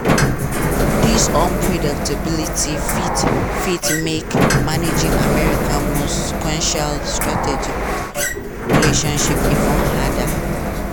dis unpredictability fit fit make managing america most consequential strategic relationship even harder.